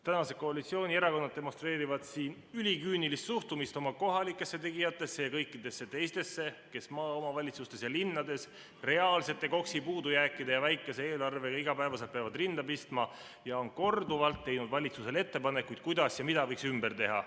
Tänased koalitsioonierakonnad demonstreerivad siin üliküünilist suhtumist kohalikesse tegijatesse ja kõikidesse teistesse, kes maaomavalitsustes ja linnades reaalsete KOKS‑i puudujääkide ja väikese eelarvega iga päev peavad rinda pistma ja on korduvalt teinud valitsusele ettepanekuid, kuidas ja mida võiks ümber teha.